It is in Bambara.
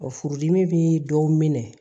furudimi bɛ dɔw minɛ